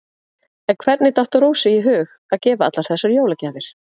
En hvernig datt Rósu í hug að gefa allar þessar jólagjafir?